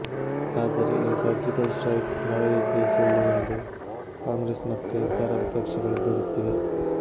ಆದರೆ ಈ surgical strike ನಡೆದಿದ್ದೇ ಸುಳ್ಳು ಎಂದು ಕಾಂಗ್ರೆಸ್ ಮತ್ತು ಇತರ ವಿಪಕ್ಷಗಳು ದೂರುತ್ತಿವೆ